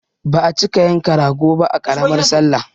Ba a cika yanka rago ba a ƙaramar sallah